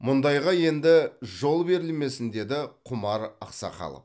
мұндайға енді жол берілмесін деді құмар ақсақалов